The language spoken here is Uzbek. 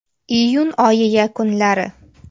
Iyun oyi yakunlari.